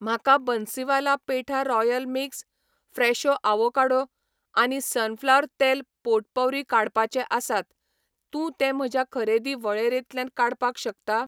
म्हाका Bansiwala petha royal mix, Fresho avocado आनी sunflower तेल पोटपौरी काडपाचे आसात, तूं ते म्हज्या खरेदी वळेरेंतल्यान काडपाक शकता?